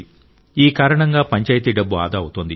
ఈ కారణంగా పంచాయతీ డబ్బు ఆదా అవుతోంది